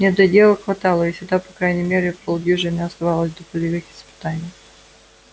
недоделок хватало и всегда по крайней мере полдюжины оставалось до полевых испытаний